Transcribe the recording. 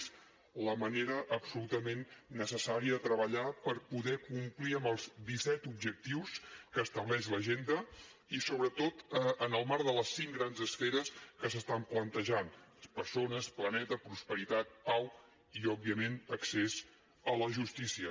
és la manera absolutament necessària de treballar per poder complir amb els disset objectius que estableix l’agenda i sobretot en el marc de les cinc grans esferes que s’hi estan plantejant persones planeta prosperitat pau i òbviament accés a la justícia